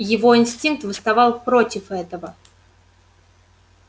его инстинкт восставал против этого